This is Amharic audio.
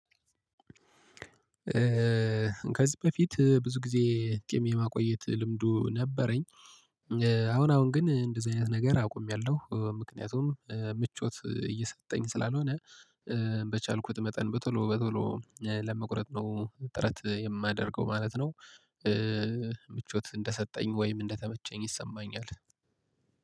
ከዚህ በፊት ብዙ ጊዜ ጺም የማቆየት ልምዱ ነበረኝ። አሁን አሁን ግን እንደዚህ አይነት ነገር አቁሜያለሁ ምክንያቱም ምቾት እየሰጠኝ ስላልሆነ። በቻልኩት መጠን በቶሎ በቶሎ ለመቁረጥ ነው ጥረት የማደርገው ማለት ነው። ምቾት እንደሰጠኝ ወይም እንደተመቸኝ ይሰማኛል።